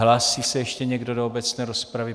Hlásí se ještě někdo do obecné rozpravy?